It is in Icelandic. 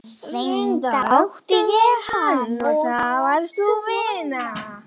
Reyndar átti ég hann, og það varst þú, vina.